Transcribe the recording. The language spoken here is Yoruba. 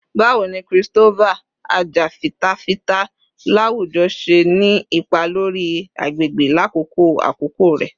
Bawo ni Christopher, ajafitafita lawujọ, ṣe ni ipa lori agbegbe lakoko akoko rẹ?